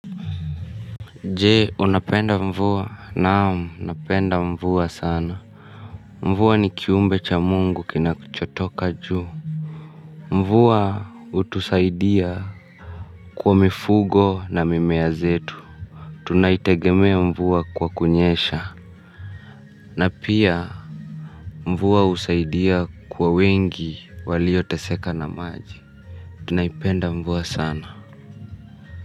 Je, unapenda mvua. Naam, napenda mvua sana. Mvua ni kiumbe cha mungu kinachotoka juu. Mvua hutusaidia kwa mifugo na mimea zetu. Tunaitegemea mvua kwa kunyesha. Na pia, mvua husaidia kwa wengi walioteseka na maji. Tunaipenda mvua sana.